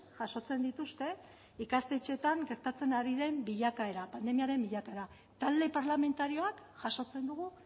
jasotzen dituzte ikastetxeetan gertatzen ari den bilakaera pandemiaren bilakaera talde parlamentarioak jasotzen dugu